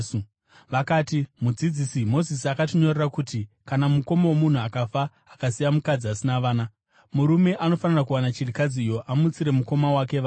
Vakati, “Mudzidzisi, Mozisi akatinyorera kuti kana mukoma womunhu akafa akasiya mukadzi asina vana, murume anofanira kuwana chirikadzi iyo amutsire mukoma wake vana.